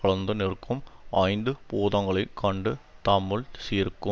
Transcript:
கலந்து நிற்க்கும் ஐந்து பூதங்களை கண்டு தம்முள் சிருக்கும்